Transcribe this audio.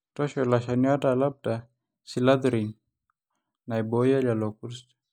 toosho iloshani oota Lambda Cyhalothrin naibooyo lelo kurt.